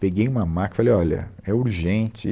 Peguei uma maca e falei, olha, é urgente.